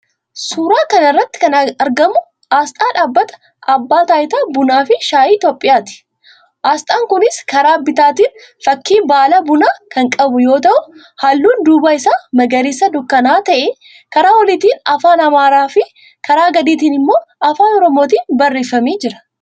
Suuraa kana irratti kan argamu aasxaa dhaabbata "Abbaa Taayitaa Bunaafi Shaayii Itiyoophiyaa"ti. Aasxaan kunis karaa bitaatiin fakkii baala bunaa kan qabu yoo ta'u, halluun duubaa isaa magariisa dukkana'aa ta'ee, karaa oliitiin Afaan Amaaraafi karaa gadiitiin immoo Afaan Oromootiin barreeffamee jira.